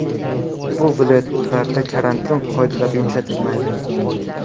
Bu viloyatlarda karantin qoidalari yumshatilmaydi.